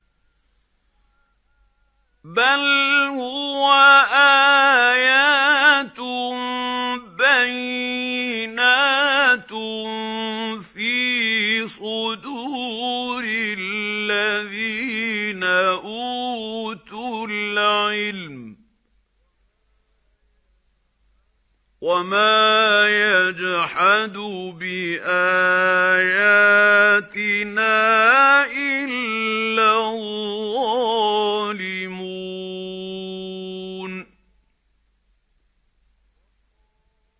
بَلْ هُوَ آيَاتٌ بَيِّنَاتٌ فِي صُدُورِ الَّذِينَ أُوتُوا الْعِلْمَ ۚ وَمَا يَجْحَدُ بِآيَاتِنَا إِلَّا الظَّالِمُونَ